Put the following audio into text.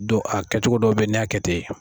a kɛcogo dɔ bɛ n'a kɛ ten